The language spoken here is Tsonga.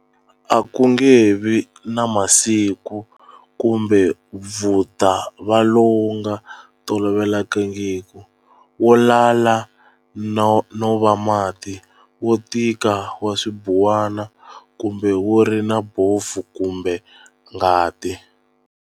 A ku nge vi na masi kumbe vu ta va lowu nga tolovelekangiki, wo lala no va mati, wo tika wa swibuwana, kumbe wu ri na bofu kumbe ngati